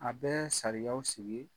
A bɛ sariyaw sigi .